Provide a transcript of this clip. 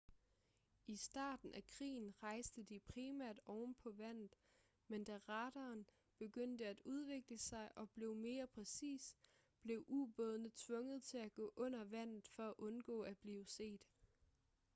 i starten af krigen rejste de primært ovenpå vandet men da radaren begyndte at udvikle sig og blev mere præcis blev ubådene tvunget til at gå under vandet for at undgå at blive set